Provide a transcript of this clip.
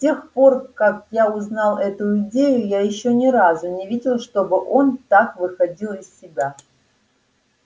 с тех пор как я узнал эту идею я ещё ни разу не видел чтобы он так выходил из себя